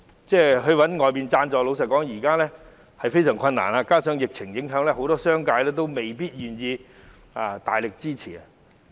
如要尋求外間贊助，老實說非常困難，加上疫情影響，商界未必願意大力支持。